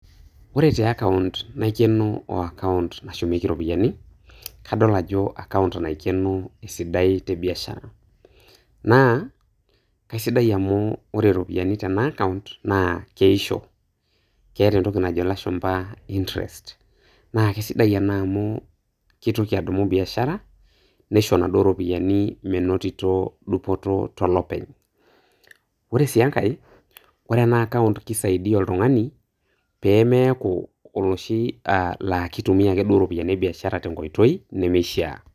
Ore te account naikeno o account nashumieki ropiyiani, kadol ajo account naikeno esidai te biashara naa, kaisidai amu ore ropiyiani tena account naa keisho, keeta entoki najo ilashumpa interest naa kisidai ena amu keitoki adumu biashara, neisho naduo ropiyiani menotito dupoto tolopeny. Ore sii enkae, ore ena account kisaidia oltung'ani peemeeku oloshi aah laa kitumia ake duo ropiyiani ebiashara tenkoitoi nemeishia.